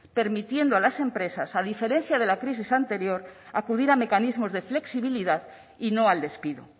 permitiendo a las empresas a diferencia de la crisis anterior acudir a mecanismos de flexibilidad y no al despido